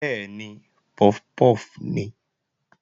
Bẹ́ẹ̀ni, puff puff nìí